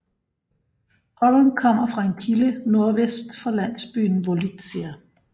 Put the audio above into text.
Horyn kommer fra en kilde nordvest for landsbyen Volytsia